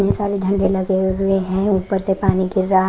ढेर सारे लगे हुए हैं ऊपर से पानी गिर रहा --